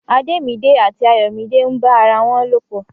Ademide àti Ayomide n bá ará wọn lo pọ.